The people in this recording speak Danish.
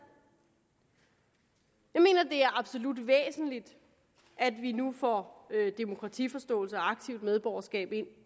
jeg mener det er absolut væsentligt at vi nu får demokratiforståelse og aktivt medborgerskab ind